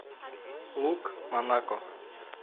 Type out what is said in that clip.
лук монако